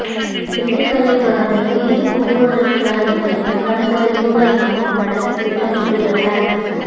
திண்டுக்கல்லை தொடர்ந்து தேனி போக்குவரத்து கழகத்திலும் கண் பரிசோதனை முகாம் நடத்த திட்டமிட்டுள்ளனர்